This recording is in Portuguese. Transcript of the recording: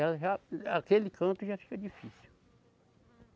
Ela já, aquele canto já fica difícil.